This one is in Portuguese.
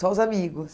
Só os amigos?